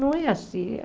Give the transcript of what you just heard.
Não é assim.